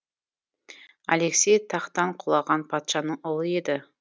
алексей тақтан құлаған патшаның ұлы еді